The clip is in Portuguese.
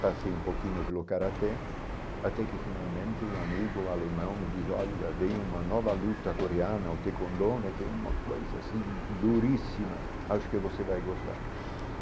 Passei um pouquinho pelo karatê, até que finalmente um amigo alemão me diz, olha, veio uma nova luta coreana, o Tae Kwon Do né que é uma coisa assim, duríssima, acho que você vai gostar.